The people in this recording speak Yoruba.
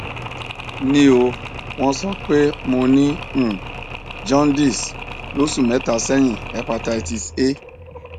nl o won so pe mo ni um jaundice loṣu mẹta sẹyin hepatitis a